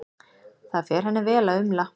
Það fer henni vel að umla.